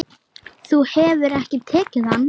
Hvernig á ég að vera?